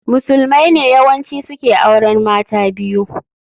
Musulmai ne yawanci su ke auren mata biyu